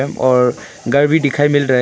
और घर भी दिखाई मिल रहा है।